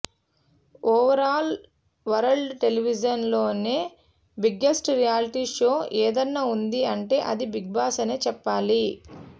overall world television లోనే biggest reality show ఏదన్నా ఉంది అంటే అది బిగ్ బాస్ అనే చెప్పాలి